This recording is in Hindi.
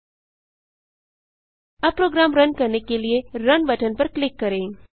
अब प्रोग्राम रन करने के लिए रुन बटन पर क्लिक करें